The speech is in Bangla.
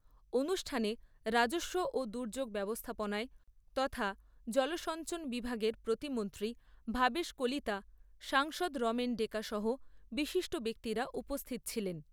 অনুষ্ঠানে রাজস্ব ও দুর্যোগ ব্যবস্থাপনায় তথা জলসঞ্চন বিভাগের প্রতিমন্ত্রী ভবেশ কলিতা, সাংসদ রমেন ডেকা সহ বিশিষ্ট ব্যক্তিরা উপস্থিত ছিলেন।